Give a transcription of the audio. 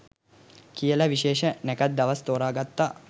කියල විශේෂ නැකත් දවස් තෝරගත්තා